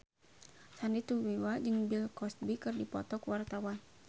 Sandy Tumiwa jeung Bill Cosby keur dipoto ku wartawan